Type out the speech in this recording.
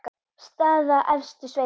Staða efstu sveita.